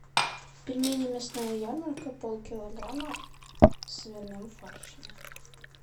пельмени мясная ярмарка полкилограмма с свиным фаршем